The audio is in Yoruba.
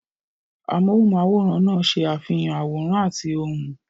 Amóhùnm'áwòrán náà ṣe àfihàn àwòrán àti ohùn